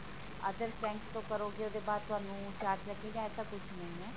others bank ਤੋ ਕਰੋਗੇ ਉਹਦੇ ਬਾਅਦ ਤੁਹਾਨੂੰ charge ਲੱਗੇਗਾ ਐਸਾ ਕੁੱਛ ਨਹੀਂ ਹੈ